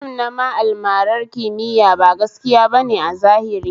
Fim nama almarar kimiya ba gaskiya bane a zahiri